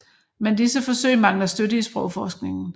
Men disse forsøg mangler støtte i sprogforskningen